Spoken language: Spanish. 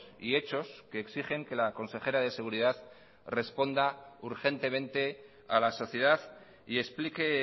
y hechos que exigen que la consejera de seguridad responda urgentemente a la sociedad y explique